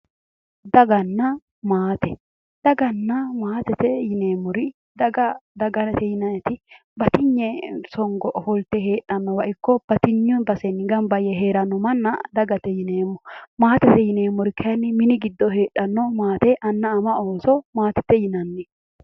Dagganna maate yineemmori daggate yineemori batiyne sonho afaolittanota daggate yinanni maatette yineemori mittu mini giddo ama anna ooso maatete yinanni